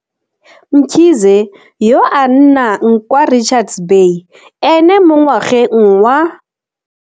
Mkhize, yo a nnang kwa Richards Bay, ene mo ngwageng wa.